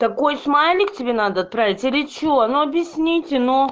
такой смайлик тебе надо отправить или что ну объясните ну